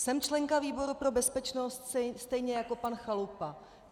Jsem členkou výboru pro bezpečnost stejně jako pan Chalupa.